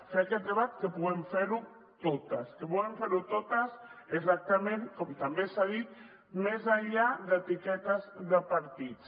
fer aquest debat que puguem fer ho totes exactament com també s’ha dit més enllà d’etiquetes de partits